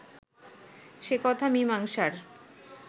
সে কথা মীমাংসার